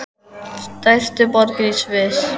Stærstu borgir í Sviss